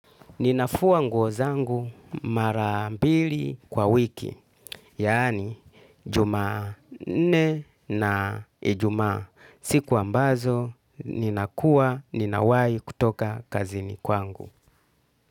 Ninafua nguozangu marambili kwa wiki, yaani jumanne na ijumaa. Siku ambazo, ninakua, ninawai kutoka kazini kwangu.